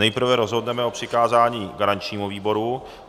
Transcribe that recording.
Nejprve rozhodneme o přikázání garančnímu výboru.